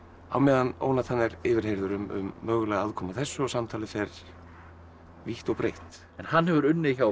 á meðan Ónatan er yfirheyrður um mögulega aðkomu að þessu og samtalið fer vítt og breitt en hann hefur unnið hjá